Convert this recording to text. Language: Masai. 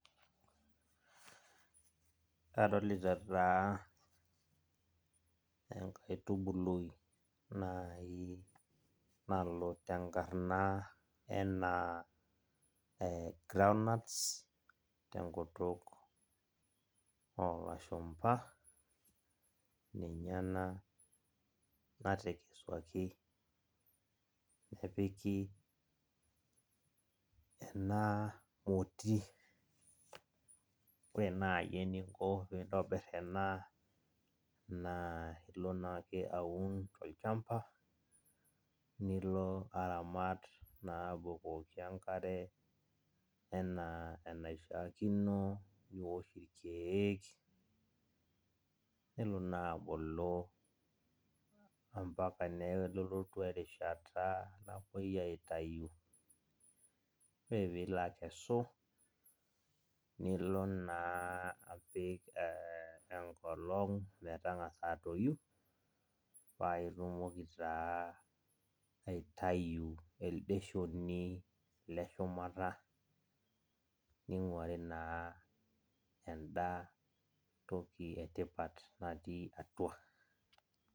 Kadolita taa enkaitubului nalo tenkarana enaa ee groundnuts tenkutuk oolashumba, nena natekesuaki nepik ena moti. Ore naayi eninko pee ntobirr naa ilo naake aun tol'chamba nilo aramat naa abukoki enkare enaa enaishaakino too keek, nelo naa abulu ambaka nelotu erishata napoi aitayu. Ore pilo akesu nilo naa apik ee enkolong metangasa atoyu, paa itumoki taa aitayu elde shoni leshumata ninkuari naa enda toki etipat natii atua.